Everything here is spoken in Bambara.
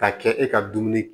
Ka kɛ e ka dumuni